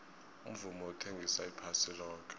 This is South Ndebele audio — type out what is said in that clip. umvumo uthengisa iphasi loke